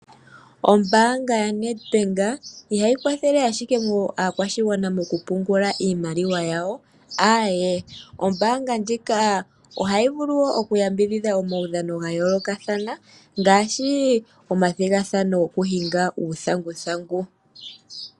Ombanga ya NedBank ihayi kwathele ashike aakwashigwana moku pungula iimaliwa yawo. Awee, oombanga ndjika ohayi vulu wo oku yambidhihda omaudhano ga yoolokathana ngashi omathigathano gokuhinga uuthanguthangu.